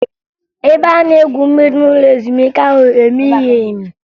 Ebe a na-egwu mmiri n'ụlọ ezumike ahụ emighi emi